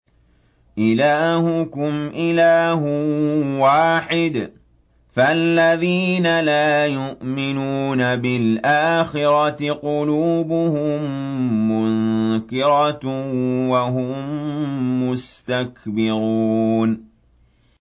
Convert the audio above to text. إِلَٰهُكُمْ إِلَٰهٌ وَاحِدٌ ۚ فَالَّذِينَ لَا يُؤْمِنُونَ بِالْآخِرَةِ قُلُوبُهُم مُّنكِرَةٌ وَهُم مُّسْتَكْبِرُونَ